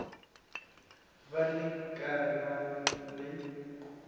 be le ka ba le